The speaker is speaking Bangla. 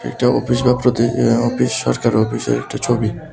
এটি অফিস বা প্রতি অফিস সরকারি অফিসের একটা ছবি।